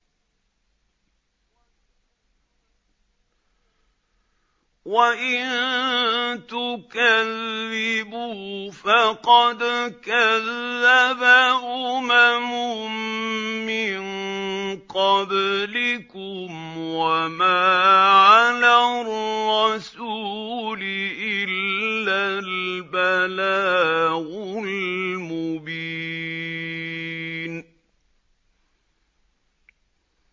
وَإِن تُكَذِّبُوا فَقَدْ كَذَّبَ أُمَمٌ مِّن قَبْلِكُمْ ۖ وَمَا عَلَى الرَّسُولِ إِلَّا الْبَلَاغُ الْمُبِينُ